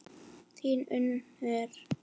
Þín Unnur.